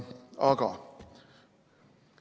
Aga ...